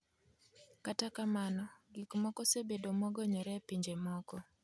Kata kamano, gik moko osebedo mogonyore e pinje moko .